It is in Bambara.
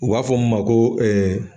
U b'a fɔ min ma ko .